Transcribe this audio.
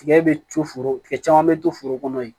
Tigɛ bɛ to foro tigɛ caman bɛ to foro kɔnɔ yen